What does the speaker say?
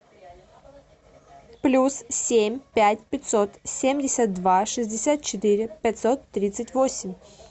плюс семь пять пятьсот семьдесят два шестьдесят четыре пятьсот тридцать восемь